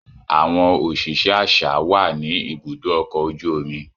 Awọn oṣiṣẹ aṣa wà ni ìbùdó ọkọ ojú omi